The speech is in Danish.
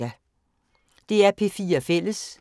DR P4 Fælles